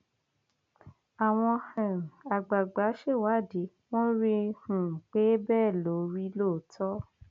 àwọn um àgbààgbà ṣèwádìí wọn rí um i pé bẹẹ ló rí lóòótọ